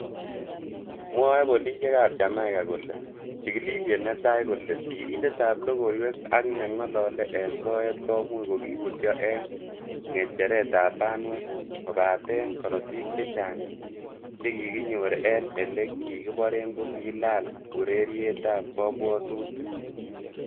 Mwae polisiek ab Jamaica kole, chigilisiet netai kole sirindetab logoiwek ak nengolole en soet komuch ko kibutyo en ngecheretab banwek kobaten korotik che chang che kikinyor en ele kikiboren ko kilaal urerietab kobwotutik.